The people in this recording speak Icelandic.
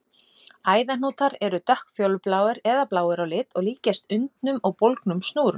Æðahnútar eru dökkfjólubláir eða bláir á lit og líkjast undnum og bólgnum snúrum.